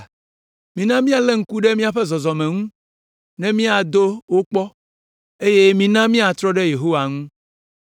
Mina míalé ŋku ɖe míaƒe zɔzɔme ŋu ne míado wo akpɔ eye mina míatrɔ ɖe Yehowa ŋu.